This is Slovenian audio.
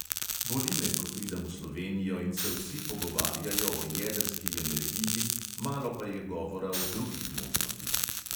Boli me, ko pridem v slovenijo in se vsi pogovarjajo o jedrski energiji, malo pa je govora o drugih možnostih.